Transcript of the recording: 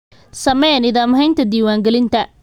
Samee nidaam haynta diiwaangelinta.